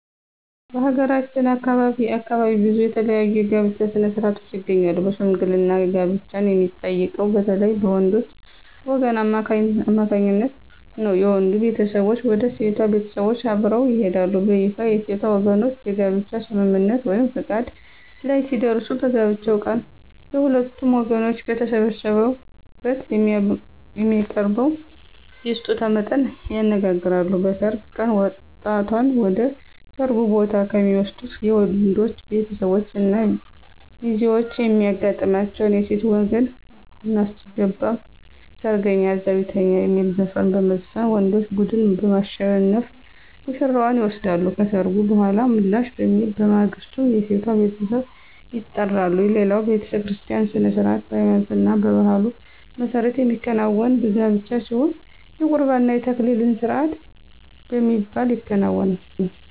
በሀገራችን ከአካባቢ አካባቢ ብዙ የተለያዩ የጋብቻ ሥነ-ሥርዓቶች ይገኛሉ በሽምግልና ጋብቻን የሚጠይቀው በተለይም በወንዶች ወገን አማካኝነት ነው። የወንዱ ቤተሰቦች ወደ ሴቷ ቤተሰቦች አብረው ይሄዳሉ። በይፋ የሴቷ ወገኖች የጋብቻ ስምምነት(ፈቃድ) ላይ ሲደርሱ በጋብቻው ቀን የሁለቱም ወገኖች በተሰበሰቡበት የሚያቀርበውን የስጦታ መጠን ይነጋገራሉ። በሰርግ ቀን ወጣቷን ወደ ሰርጉ ቦታ ከሚወስዱት የወንዶች ቤተሰቦች እና ሚዜዎች የሚያጋጥማቸው የሴት ወገን *አናስገባም ሰርገኛ እዛው ይተኛ* የሚል ዘፈን በመዝፈን ወንዶች ቡድን በማሸነፍ ውሽራዋን ይወስዳሉ። ከሰርጉ በኃላ ምላሽ በሚል በማግስቱ የሴቷ ቤተሰብ ይጠራሉ። ሌላው በቤተክርስቲያ ሥነ-ሥርዓት በሃይማኖትና በባህሉ መሠረት የሚከናወን ጋብቻ ሲሆን የቁርባን እና የተክሊል ስርአት በሚባል ይከናወናል።